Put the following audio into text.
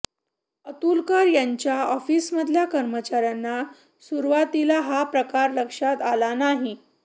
अतुलकर यांच्या ऑफिसमधल्या कर्मचाऱ्यांना सुरवातीला हा प्रकार लक्षात आला नाही